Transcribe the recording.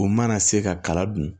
U mana se ka kala dun